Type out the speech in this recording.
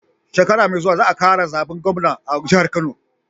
Shekara me zuwa za a kara zaben gwamna a jihar kano